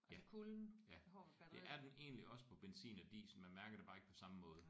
Ja ja det er den egentlig også på benzin og diesel man mærker det bare ikke på samme måde